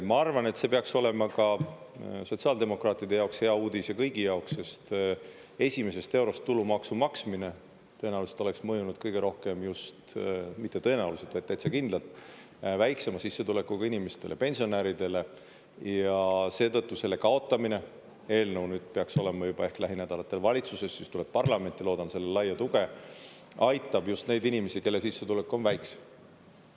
Ma arvan, et see peaks olema ka sotsiaaldemokraatide jaoks hea uudis ja kõigi jaoks, sest esimesest eurost tulumaksu maksmine tõenäoliselt oleks mõjunud kõige rohkem just – mitte tõenäoliselt, vaid täitsa kindlalt – väiksema sissetulekuga inimestele, pensionäridele, ja seetõttu selle kaotamine – eelnõu nüüd peaks olema juba ehk lähinädalatel valitsuses, siis tuleb parlamenti, loodan sellele laia tuge – aitab just neid inimesi, kelle sissetulek on väiksem.